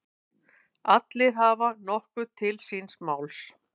Allir hafa nokkuð til síns máls.